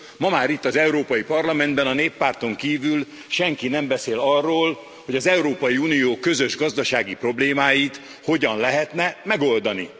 Ma már itt az Európai Parlamentben a Néppárton kívül senki nem beszél arról, hogy az Európai Unió közös gazdasági problémáit hogyan lehetne megoldani.